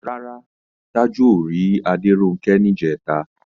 Rárá, Tájù ò rí Adéronkẹ́ níjẹ̀ta